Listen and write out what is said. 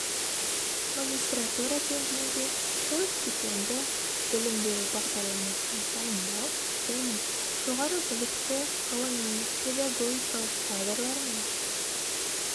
магистратура деңгейінде қос дипломды білім беру бағдарламасын дайындау және жоғары білікті ғылыми педагогикалық кадрлар мен